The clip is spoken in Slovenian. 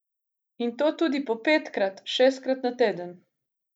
In to tudi po petkrat, šestkrat na teden.